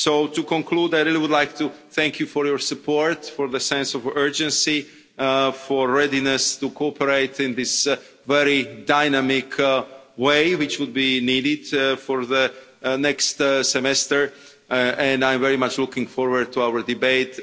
So to conclude, I really would like to thank you for your support, for the sense of urgency, for your readiness to cooperate in the very dynamic way which would be needed for the next Semester. I'm very much looking forward to our debate.